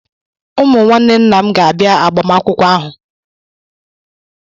Ụmụ nwanne nnam ga-abịa agbamakwụkwọ ahụ.